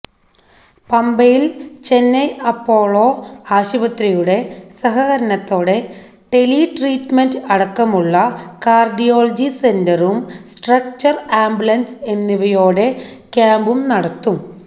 പമ്പയില് Chennai Apollo ആശുപത്രിയുടെ സഹകരണത്തോടെ tele treatment അടക്കമുള്ള കാര്ഡിയോളജി സെന്ററും സ്ട്രക്ചര് ആംബുലന്സ് എന്നിവയോടെ ക്യാമ്പും നടത്തും